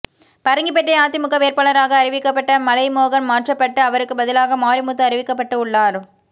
பரங்கிபேட்டை அதிமுக வேட்பாளராக அறிவிக்கப்பட்ட மலை மோகன் மாற்றப்பட்டு அவருக்கு பதிலாக மாரிமுத்து அறிவிக்கப்பட்டு உள்ளார்